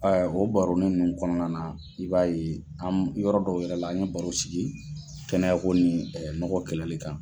O baroni ninnu kɔnɔna na, i b'a ye an yɔrɔ dɔw yɛrɛ la, an ye baro sigi, kɛnɛ ko ni nɔgɔ kɛlɛli kan.